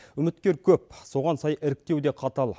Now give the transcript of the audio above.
үміткер көп соған сай іріктеу де қатал